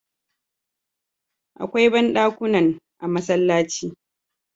Akwai bandakunan a masallaci